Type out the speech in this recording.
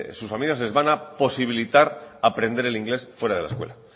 sus familias les va a posibilitar aprender el inglés fuera de la escuela